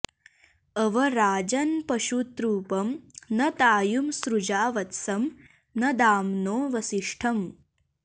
अव राजन्पशुतृपं न तायुं सृजा वत्सं न दाम्नो वसिष्ठम्